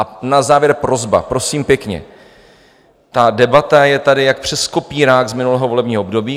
A na závěr prosba, prosím pěkně: ta debata je tady jak přes kopírák z minulého volebního období.